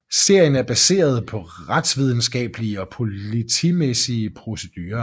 Serien er baseret på retsvidenskablige og politimæssige procedurer